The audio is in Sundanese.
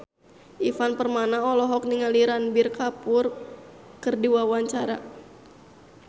Ivan Permana olohok ningali Ranbir Kapoor keur diwawancara